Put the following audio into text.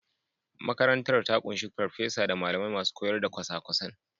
Makarantar ta ƙunshi farfesa da malamai masu koyar da kwasa-kwasan.